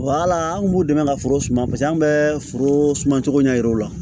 an kun b'u dɛmɛ ka foro suma paseke an bɛ foro suma cogo ɲɛ yira o la